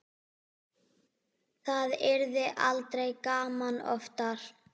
Það yrði aldrei gaman oftar.